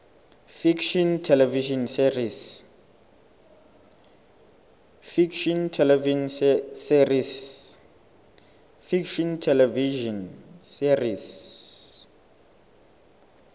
fiction television series